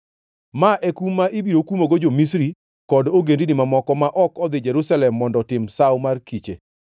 Ma e kum ma ibiro kumogo jo-Misri kod ogendini mamoko ma ok odhi Jerusalem mondo otim Sawo mar Kiche.